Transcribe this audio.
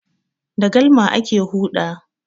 Da galma ake huɗa.